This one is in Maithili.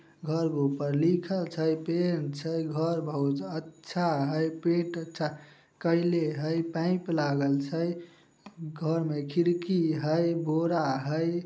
घर के ऊपर लिखल छई पैंट छई घर बहुत अच्छा हेय पैंट अच्छा केएले हेय पाइप लागईल हई घर मे खिड़की हेय बोरा हेय।